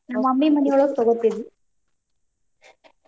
ನಮ್ mummy ಮನಿಯೊಳಗ್ ತಗೋತೇವಿ.